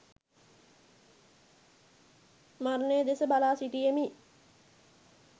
මරණය දෙස බලා සිටියෙමි.